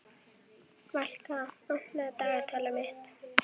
Valka, opnaðu dagatalið mitt.